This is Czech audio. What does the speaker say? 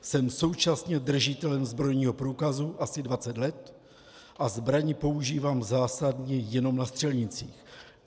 Jsem současně držitelem zbrojního průkazu asi 20 let a zbraň používám zásadně jenom na střelnici.